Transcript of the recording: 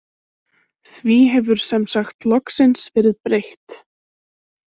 Því hefur sem sagt loksins verið breytt.